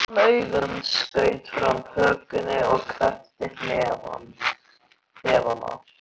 Þá pírði hann augun, skaut fram hökunni og kreppti hnefana.